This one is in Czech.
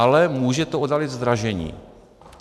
Ale může to oddálit zdražení.